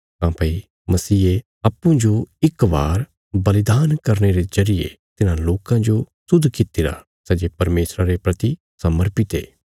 काँह्भई मसीहे अप्पूँजो इक बार बलिदान करने रे जरिये तिन्हां लोकां जो शुद्ध कित्तिरा सै जे परमेशरा रे प्रति समर्पित ये